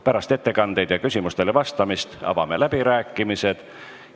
Pärast ettekandeid ja küsimustele vastamist avame läbirääkimised.